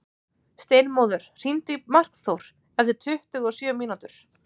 Steinmóður, hringdu í Markþór eftir tuttugu og sjö mínútur.